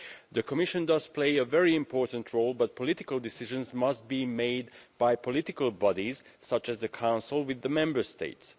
The Commission does play a very important role but political decisions must be made by political bodies such as the Council, together with the Member States.